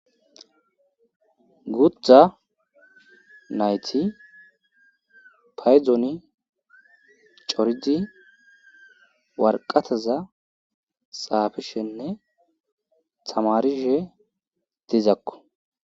guuththa naythi paydoni coridi warqathaza xaafishenne thamaarishe dizakko.